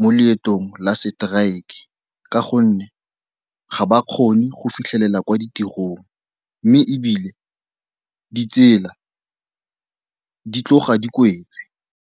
mo leetong la seteraeke ka gonne ga ba kgone go fitlhelela kwa ditirong mme ebile ditsela di tloga di kwetswe.